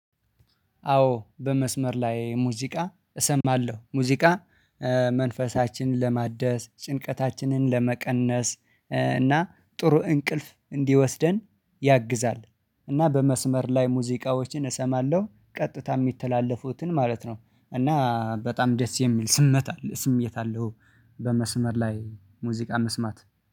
አዎ በመስመር ላይ ሙዚቃ እሰማለሁ ሙዚቃ መንፈሳችንን ለማደስ ጭንቀታችንን ለመቀነስ እና ጥሩ እንቅልፍ እንዲወስደን ያግዛል። እና በመስመር ላይ ሙዚቃዎችን እሰማለሁ ቀጥታ የሚተላለፉትን ማለት ነው። እና በጣም ደስ የሚል ስመት አለ ስሜት አለው። በመስመር ላይ ሙዚቃ መስማት